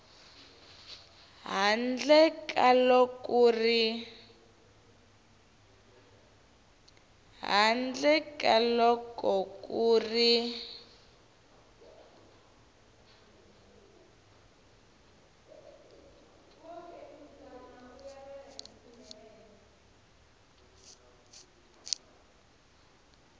handle ka loko ku ri